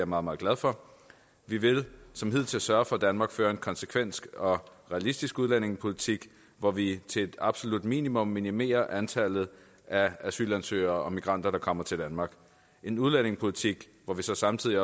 meget meget glad for vi vil som hidtil sørge for at danmark fører en konsekvent og realistisk udlændingepolitik hvor vi til et absolut minimum minimerer antallet af asylansøgere og migranter der kommer til danmark en udlændingepolitik hvor vi så samtidig